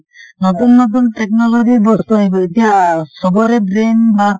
নতুন নতুন technology ৰ বস্তু আহিব । এতিয়া চবৰে brain বা